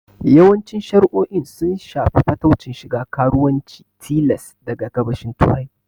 Yawancin shari'o'in sun shafi fataucin shiga karuwanci tilas daga Gabashin Turai.